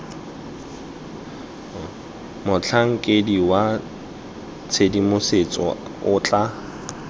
motlhankedi wa tshedimosetso o tla